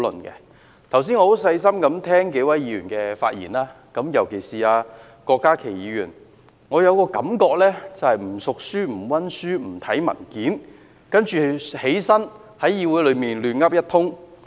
剛才我細心聆聽數位議員的發言，尤其是郭家麒議員，令我有一種感覺，就是不熟書、不溫書、不看文件，然後站在議會內"亂噏一通"。